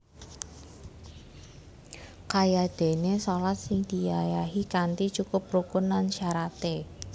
Kayadéné shalat sing diayahi kanthi cukup rukun lan syaraté